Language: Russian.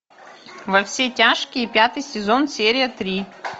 во все тяжкие пятый сезон серия три